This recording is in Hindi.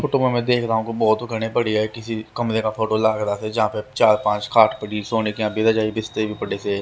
फोटो में मैं देख रहा हूं बहुत घने पड़ी है किसी कमरे का फोटो लाग रहा था जहां पे चार पांच खाट पड़ी सोने के रजाई बिस्तर भी पड़े से--